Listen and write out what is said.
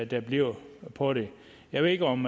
der bliver på det jeg ved ikke om